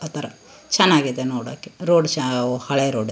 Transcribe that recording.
ಆತರ ಚನ್ನಾಗಿದೆ ನೋಡೋಕೆ ರೋಡ್ ಚವ್ ಹಳೆ ರೋಡ್ .